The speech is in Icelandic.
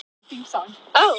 Það er fólk að hringja.